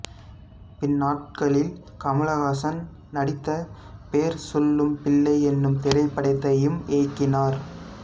பின்னாட்களில் கமலஹாசன் நடித்த பேர் சொல்லும் பிள்ளை என்னும் திரைப்படத்தையும் இயக்கினார்